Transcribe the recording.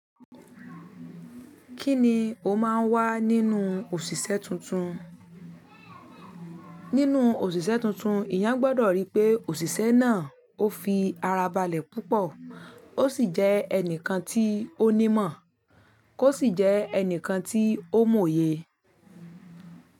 Kíni ó máa ń wá nínú òṣìṣẹ́ tuntun? Nínú òṣìṣẹ́ tuntun, ìyán gbọ́dọ̀ rí pé òṣìṣẹ́ náà ó fi ara balẹ̀ púpọ̀, ó sì jẹ́ ẹnìkan tí ó ní ìmọ̀, kó sì jẹ́ ẹnìkan tí ó mòye.